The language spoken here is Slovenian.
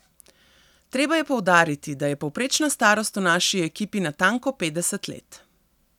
Treba je poudariti, da je povprečna starost v naši ekipi natanko petdeset let.